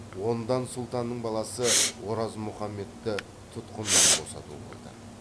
ондан сұлтанның баласы оразмұхаммедті тұтқыннан босату болды